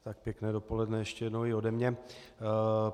Tak pěkné dopoledne ještě jednou i ode mne.